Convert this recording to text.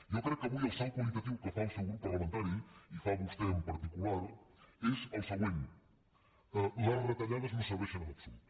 jo crec que avui el salt qualitatiu que fa el seu grup parlamentari i fa vostè en particular és el següent les retallades no serveixen en absolut